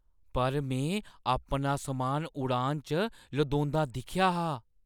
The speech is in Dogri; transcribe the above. पर मैं अपना समान उड़ान च लदोंदा दिक्खेआ हा।